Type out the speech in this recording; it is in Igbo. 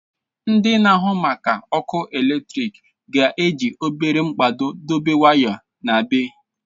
Ndị na-ahụ maka ọkụ eletrik ga-eji obere mkpado dobe waya n'ebe.